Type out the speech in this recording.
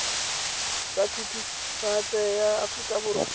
tsa thutafatshe ya aforika borwa